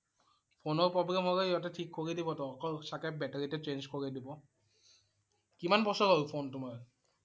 ফোনৰ problem হলে সিহঁতে ঠিক কৰি দিবটো। অকল চাগে battery টো change কৰি দিব। কিমান বছৰ হল ফোন তোমাৰ?